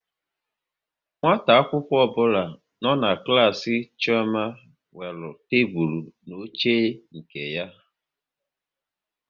Nwata akwụkwọ ọbụla nọ n'klas Chioma nwere tebụl na oche nke ya